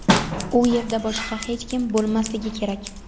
u yerda boshqa hech kim bo‘lmasligi kerak.